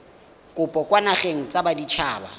kopo kwa dinageng tsa baditshaba